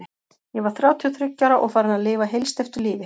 Ég var þrjátíu og þriggja ára og farin að lifa heilsteyptu lífi.